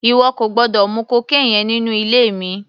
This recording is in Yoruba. Ìwọ kò gbọ́dọ̀ mu cocaine yẹn nínú ilé mi!